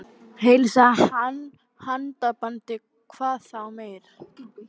Heilsaði með handabandi hvað þá meir.